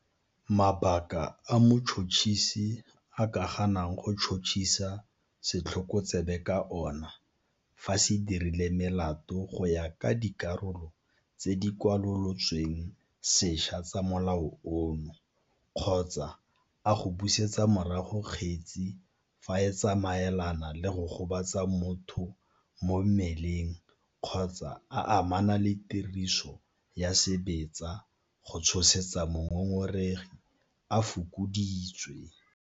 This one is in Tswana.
Mabaka a motšhotšhisi a ka ganang go tšhotšhisa setlhokotsebe ka ona fa se dirile melato go ya ka dikarolo tse di kwalolotsweng sešwa tsa Molao ono kgotsa a go busetsa morago kgetse fa e tsamaelana le go gobatsa motho mo mmeleng kgotsa a amana le tiriso ya sebetsa go tshosetsa mongongoregi a fokoditswe.